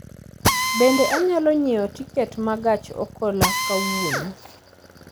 Bende anyalo nyiewo tiket ma gach okolokawuono